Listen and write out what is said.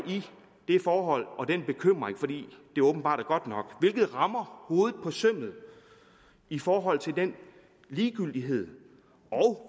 i det forhold og den bekymring fordi det åbenbart er godt nok hvilket rammer hovedet på sømmet i forhold til den ligegyldighed og